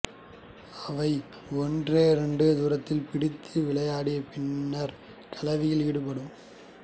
அவை ஒன்றையொன்று துரத்திப் பிடித்து விளையாடி பின்னர் கலவியில் ஈடுபடும்